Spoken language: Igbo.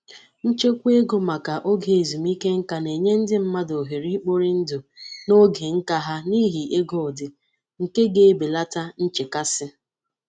Nchekwa ego maka oge ezumike ǹkà na-enye ndị mmadụ ohere ikpori ndụ na ógè ǹkà ha n'ihi ego dị nke ga-ebelata nchekasị.